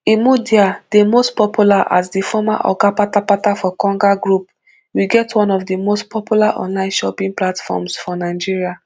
imudia dey most popular as di former oga kpatakpata for konga group we get one of di most popular online shopping platforms for nigeria